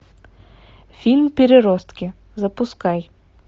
фильм переростки запускай